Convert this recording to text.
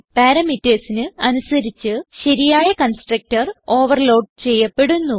Parametersന് അനുസരിച്ച് ശരിയായ constructor overload ചെയ്യപ്പെടുന്നു